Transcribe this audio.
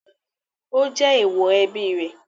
Ó jẹ èèwọ̀ ẹbí rẹ̀?